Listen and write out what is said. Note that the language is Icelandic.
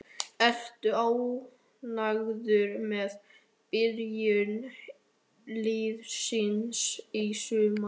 Ertu ánægður með byrjun liðsins í sumar?